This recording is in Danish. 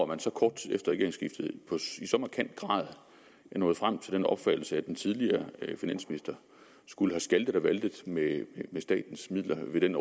man så kort tid efter regeringsskiftet i så markant grad er nået frem til den opfattelse at den tidligere finansminister skulle have skaltet og valtet med statens midler ved den